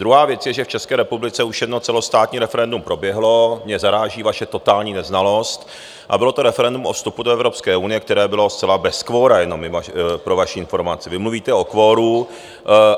Druhá věc je, že v České republice už jedno celostátní referendum proběhlo, mě zaráží vaše totální neznalost, a bylo to referendum o vstupu do Evropské unie, které bylo zcela bez kvora, jenom pro vaši informaci - vy mluvíte o kvoru.